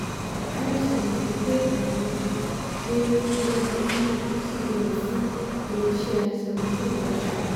bí ó tilẹ̀ jẹ́ pé àwọn péré ló gbajúmọ̀ cbn fún ilé-iṣẹ́ seventeen láṣẹ.